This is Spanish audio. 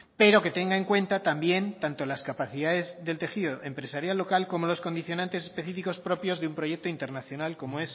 pero que tenga en cuenta también tanto las capacidades del tejido empresarial local como los condicionantes específicos propios de un proyecto internacional como